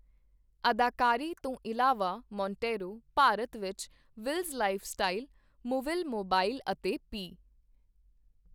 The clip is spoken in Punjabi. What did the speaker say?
ਅਦਾਕਾਰੀ ਤੋਂ ਇਲਾਵਾ, ਮੋਂਟੇਇਰੋ ਭਾਰਤ ਵਿੱਚ ਵਿੱਲਜ਼ ਲਾਈਫ ਸਟਾਈਲ, ਮੂਵਿਲ ਮੋਬਾਈਲ ਅਤੇ ਪੀ.